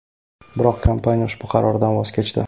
Biroq kompaniya ushbu qaroridan voz kechdi.